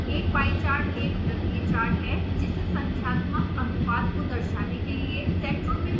एक pie chart एक वृत्तीय चार्ट है जिसे संख्यात्मक अनुपात को दर्शाने के लिए सेक्टरों में विभाजित किया गया है